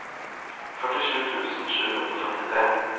førtisju tusen sju hundre og femtitre